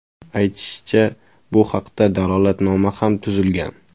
Aytishicha, bu haqda dalolatnoma ham tuzilgan.